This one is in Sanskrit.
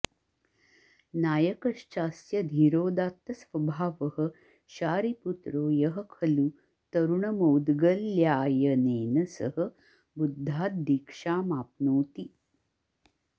नायकश्चास्य धीरोदात्तस्वभावः शारिपुत्रो यः खलु तरुणमौद्गल्यायनेन सह बुद्धाद्दीक्षामाप्नोति